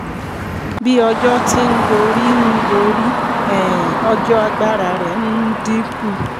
bí ọjọ́ ti ń gorí ń gorí um ọjọ́ agbára rẹ̀ ń dínkù